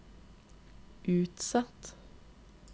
utsatt